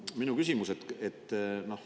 Aga minu küsimus.